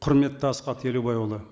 құрметті асхат елубайұлы